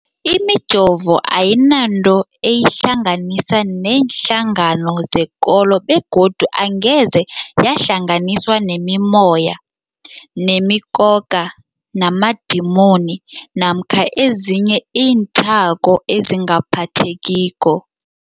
Imijovo ayinanto eyihlanganisa neenhlangano zekolo begodu angeze yahlanganiswa nemimoya, nemi khokha, namadimoni namkha ezinye iinthako ezingaphathekiko.